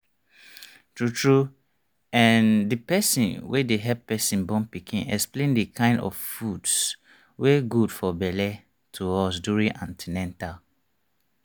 tru tru ehnthe person wey dey help person born pikin explain the kind of foods wey good for belle to us during an ten atal